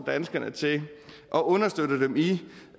danskerne til og understøtter dem i